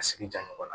A sigi ja mɔgɔ la